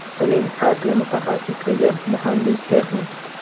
Uning asli mutaxassisligi muhandis-texnik.